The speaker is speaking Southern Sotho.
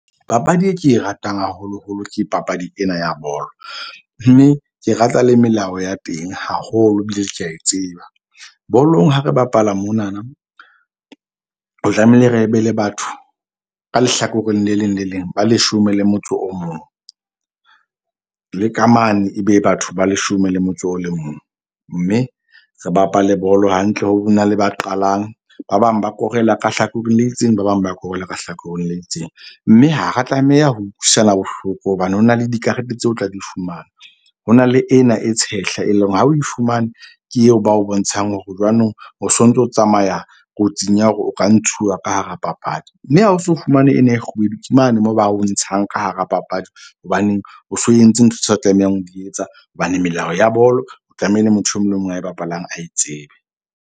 Papadi e ke e ratang haholoholo ke papadi ena ya bolo, mme ke rata le melao ya teng haholo. Ebile ke a tseba. Bolong ha re bapala monana tlamehile re be le batho ka lehlakoreng le leng le leng ba leshome le motso o mong, le ka mane ebe batho ba leshome le motso o le mong. Mme re bapale bolo hantle ho be na le ba qalang. Ba bang ba korela ka hlakoreng le itseng, ba bang ba korela ka hlakoreng le itseng. Mme ha ra tlameha ho utlwisana bohloko hobane ho na le dikarete tseo tla di fumana. Ho na le ena e tshehla, e leng hore ha o e fumane ke eo ba o bontshang hore jwanong o so ntso, tsamaya kotsing ya hore o ka ntshuwa ka hara papadi. Mme ha o so fumane ena e kgubedu ke mane moo ba o ntshang ka hara papadi. Hobaneng o so entse ntho tseo o tlamehang ho etsa hobane melao ya bolo o tlamehile motho e mong le o mong a bapalang a e tsebe.